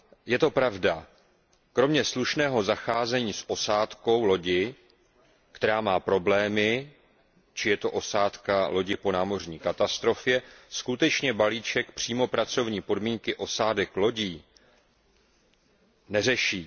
Je to pravda, kromě slušného zacházení s osádkou lodi, která má problémy, či osádkou lodi po námořní katastrofě skutečně balíček přímo pracovní podmínky osádek lodí neřeší.